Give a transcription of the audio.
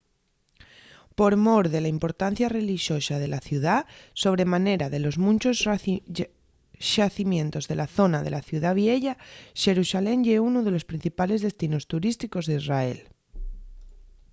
por mor de la importancia relixosa de la ciudá sobre manera de los munchos xacimientos de la zona de la ciudá vieya xerusalén ye unu de los principales destinos turísticos d’israel